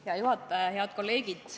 Hea juhataja!